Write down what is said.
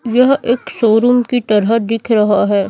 यह एक शोरूम की तरह दिख रहा है।